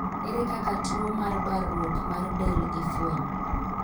Ere kaka tuo mar baruok mar del ifwenyo?